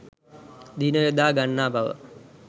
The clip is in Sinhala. දින යොදා ගන්නා බව